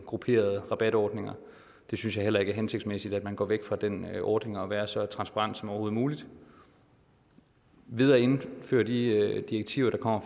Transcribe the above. grupperede rabatordninger det synes jeg heller ikke er hensigtsmæssigt at man går væk fra den ordning med at være så transparent som overhovedet muligt ved at indføre de direktiver der kommer